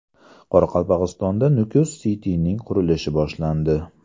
Qoraqalpog‘istonda Nukus City’ning qurilishi boshlandi.